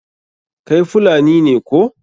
Kai Fulani ne koh?